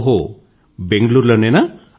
ఓహో బెంగుళూరు లోనేనా